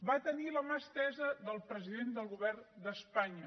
va tenir la mà estesa del president del govern d’espanya